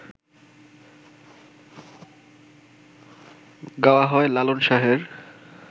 গাওয়া হয় লালন শাহের